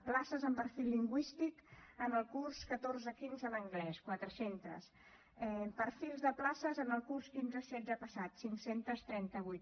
places amb perfil lingüístic en el curs catorze quinze en anglès quatre cents perfils de places en el curs quinze setze passat cinc cents i trenta vuit